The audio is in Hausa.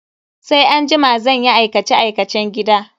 Sai anjima zan yi aikace-aikacen gida.